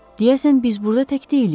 Deyəsən biz burda tək deyilik.